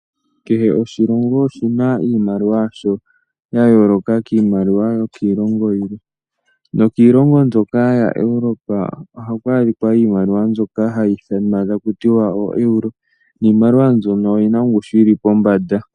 Kehe oshilongo oshina iimaliwa yasho ya yooloka kiimaliwa yokiilongo yilwe. Kiilongo yokoEuropa ohaku adhika iimaliwa mbyoka haku tiwa oeuro niimaliwa mbino oyina ongushu yili pombanda.